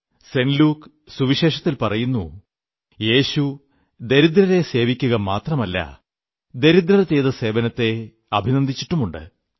saint Luke സുവിശേഷത്തിൽ പറയുന്നു യേശു ദരിദ്രരെ സേവിക്കുക മാത്രമല്ല ദരിദ്രർ ചെയ്ത സേവനത്തെ അഭിനന്ദിച്ചിട്ടുമുണ്ട്